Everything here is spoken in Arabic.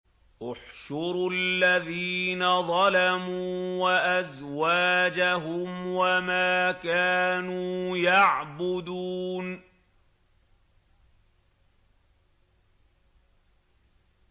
۞ احْشُرُوا الَّذِينَ ظَلَمُوا وَأَزْوَاجَهُمْ وَمَا كَانُوا يَعْبُدُونَ